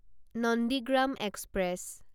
Nandigram express